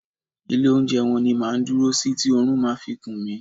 Ilé oúnjẹ wọn ni máa ń dúró sí tí oorun máa fi kun mí.